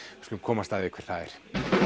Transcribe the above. við skulum komast að því hver það er